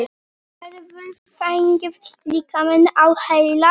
Hefurðu fengið líkamann á heilann?